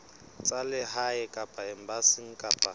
tsa lehae kapa embasing kapa